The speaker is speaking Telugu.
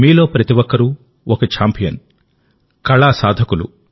మీలో ప్రతి ఒక్కరూ ఒక ఛాంపియన్ కళా సాధకులు